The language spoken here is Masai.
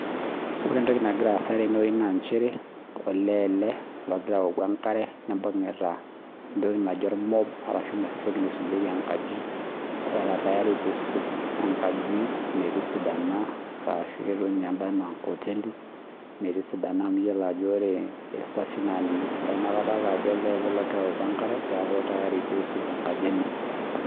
Ore entoki nagiraa asaa tene naa olee ele ogira awoki enkare netaa enoshi toki naisujiekie enkaji era tayari pee esuj enkaji metisidana ashu ketieu ena enkoteli metisidana eyiolou Ajo kesesh oshi aa ninye esidai neeku olee ele ogira awoki enkare pee esuj enkaji enye